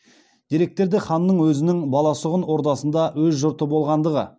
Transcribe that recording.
деректерде ханның өзінің баласұғын ордасында өз жұрты болғандығы